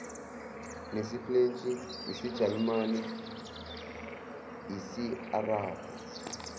nesifulentshi isijalimane isiarabhu